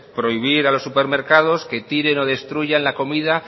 prohibir a los supermercados que tiren o destruyan la comida